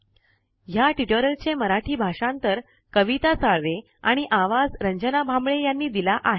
ह्या ट्यूटोरियल मराठी भाषांतर कविता साळवे आणि आवाज रंजना भांबळे यांनी दिला आहे